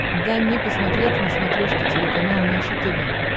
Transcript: дай мне посмотреть на смотрешке телеканал наше тв